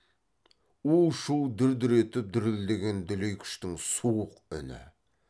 у шу дүр дүр етіп дүрілдеген дүлей күштің суық үні